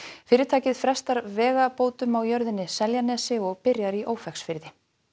fyrirtækið frestar vegabótum á jörðinni Seljanesi og byrjar í Ófeigsfirði